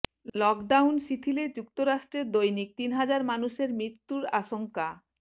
lockdown শিথিলে যুক্তরাষ্ট্রে দৈনিক তিন হাজার মানুষের মৃত্যুর আশঙ্কা